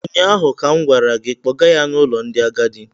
ụnyaahụ ka m gwara gị, kpọga ya n’ụlọ ndị agadi!